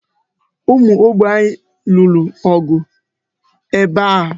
Ụmụ Ogbe anyị lụrụ ọgụ ebe a.